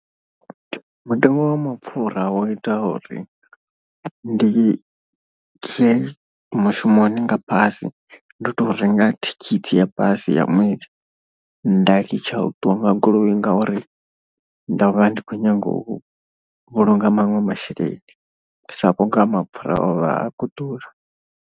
Mutengo wa mapfura wo ita uri ndi ye mushumoni nga basi ndo to renga thikhithi ya basi ya ṅwedzi. Nda litsha u ṱuwa nga goloi ngauri ndo vha ndi khou nyanga u vhulunga maṅwe masheleni sa vhunga mapfura o vha a khou ḓura.